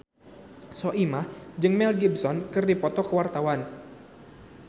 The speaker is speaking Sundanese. Soimah jeung Mel Gibson keur dipoto ku wartawan